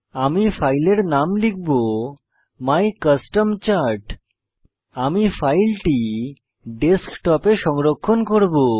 আমি ফাইলের নাম লিখব my custom চার্ট আমি ফাইলটি ডেস্কটপ এ সংরক্ষণ করব